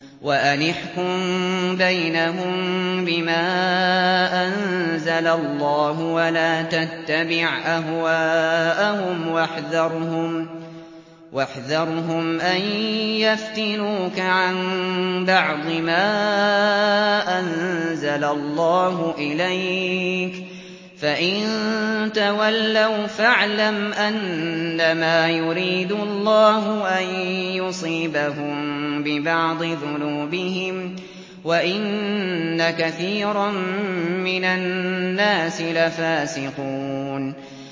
وَأَنِ احْكُم بَيْنَهُم بِمَا أَنزَلَ اللَّهُ وَلَا تَتَّبِعْ أَهْوَاءَهُمْ وَاحْذَرْهُمْ أَن يَفْتِنُوكَ عَن بَعْضِ مَا أَنزَلَ اللَّهُ إِلَيْكَ ۖ فَإِن تَوَلَّوْا فَاعْلَمْ أَنَّمَا يُرِيدُ اللَّهُ أَن يُصِيبَهُم بِبَعْضِ ذُنُوبِهِمْ ۗ وَإِنَّ كَثِيرًا مِّنَ النَّاسِ لَفَاسِقُونَ